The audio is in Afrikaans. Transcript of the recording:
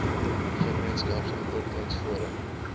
gemeenskaps ontwikkelings forum